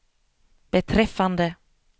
beträffande